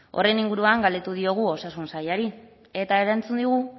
horren inguruan galdetu diogu osasun sailari eta erantzun digu